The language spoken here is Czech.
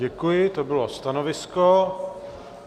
Děkuji, to bylo stanovisko.